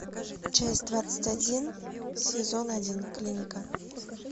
часть двадцать один сезон один клиника